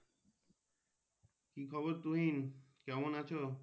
কি খবর তুহিন কেমন আছো